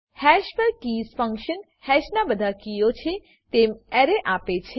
hash પર keys function હેશના બધા કીઓ છે તેમ એરે આપે છે